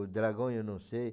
O dragão eu não sei.